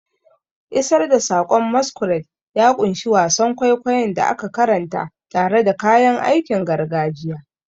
Isar da saƙon masquerade ya ƙunshi wasan kwaikwayon da aka karanta tare da kayan aikin gargajiya.